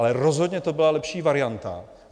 Ale rozhodně to byla lepší varianta.